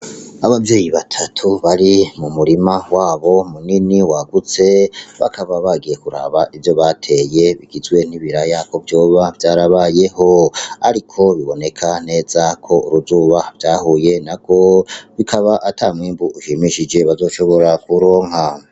Abavyeyi batatu bari m'umurima wabo munini wagutse, bakaba bagiye kurab ivyo bateye bigizwe n'ibiraya kovyoba vyarabayeho, ariko biboneka neza ko uruzuba vyahuye narwo, bakaba ata mwimbu ushimishije bazoshobora kuronka.